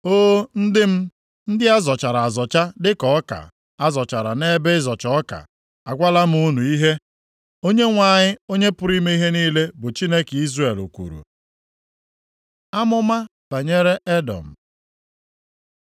O, ndị m, ndị a zọchara azọcha, dịka ọka a zọchara nʼebe ịzọcha ọka, agwala m unu ihe Onyenwe anyị, Onye pụrụ ime ihe niile bụ Chineke Izrel kwuru. Amụma banyere Edọm